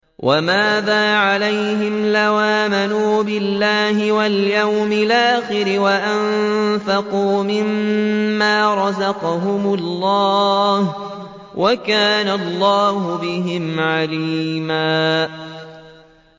وَمَاذَا عَلَيْهِمْ لَوْ آمَنُوا بِاللَّهِ وَالْيَوْمِ الْآخِرِ وَأَنفَقُوا مِمَّا رَزَقَهُمُ اللَّهُ ۚ وَكَانَ اللَّهُ بِهِمْ عَلِيمًا